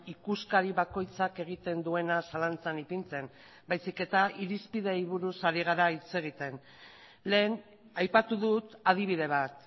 ikuskari bakoitzak egiten duena zalantzan ipintzen baizik eta irizpideei buruz ari gara hitz egiten lehen aipatu dut adibide bat